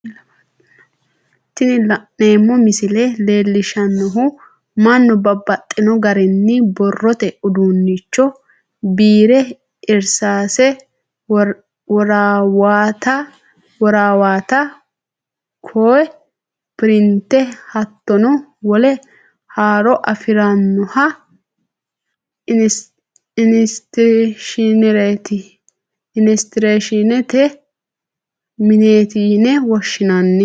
Tini la'neemo misile leellishanohu mannu babaxxino garinni borrotte uduunnicho biirre irisaasse, worawatta koohe pirinte hattonno wole horo affirannohha isiteshinerete mineeti yine woshinanni